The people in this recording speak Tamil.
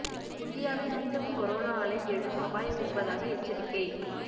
இந்தியாவில் மீண்டும் கொரோனா அலை எழும் அபாயம் இருப்பதாக எச்சரிக்கை